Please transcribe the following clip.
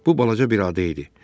Bu balaca bir ada idi.